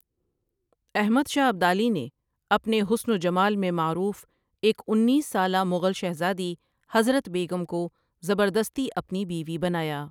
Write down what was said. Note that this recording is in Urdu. احمد شاہ ابدالی نے اپنے حسن و جمال میں معروف ایک انیس سالہ مغل شہزادی حضرت بیگم کو زبردستی اپنی بیوی بنایا ۔